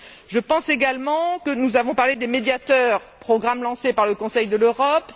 Je pense également que nous avons parlé des médiateurs, programme lancé par le Conseil de l'Europe.